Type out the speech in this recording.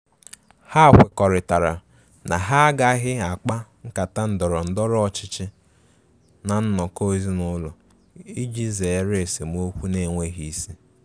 Ha kwekọrịtara na ha agaghị akpa nkata ndọrọ ndọrọ ọchịchị ná nnọkọ ezinụlọ iji zere esemokwu na-enweghi isi.